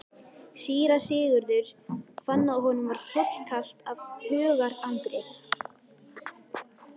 Síra Sigurður fann að honum var hrollkalt af hugarangri.